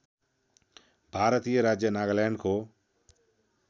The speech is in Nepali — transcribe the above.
भारतीय राज्य नागाल्यान्डको